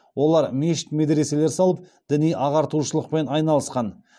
олар мешіт медреселер салып діни ағартушылықпен айналысқан